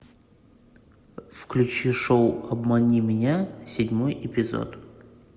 включи шоу обмани меня седьмой эпизод